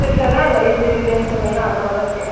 கழுத்து கொஞ்சம் பின்னாடி என்னக்கு அகலமா இருக்கட்டும்.